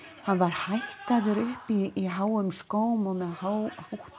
hann var hækkaður upp í háum skóm og með hátt